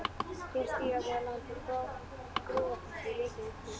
Hér stíga þau á land úr Brúarfossi í Reykjavík frú